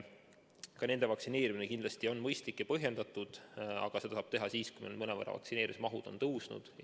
Ka nende vaktsineerimine on kindlasti mõistlik ja põhjendatud, aga seda saab teha siis, kui vaktsineerimismahud on mõnevõrra tõusnud.